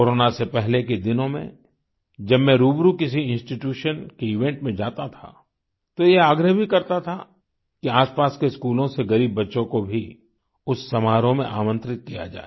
corona से पहले के दिनों में जब मैं रुबरु किसी इंस्टीट्यूशन की इवेंट में जाता था तो यह आग्रह भी करता था कि आसपास के स्कूलों से गरीब बच्चों को भी उस समारोह में आमंत्रित किया जाए